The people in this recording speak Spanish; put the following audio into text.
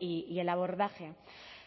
y el abordaje